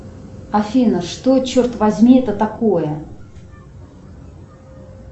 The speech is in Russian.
афина что черт возьми это такое